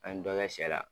An ye dɔ kɛ sɛ la